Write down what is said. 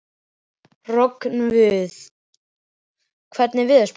Kamilla setti í brýnnar og tók sér málhvíld.